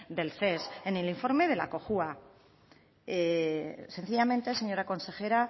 del ces en el informe de la cojua sencillamente señora consejera